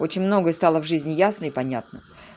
очень многое стало в жизни ясно и понятно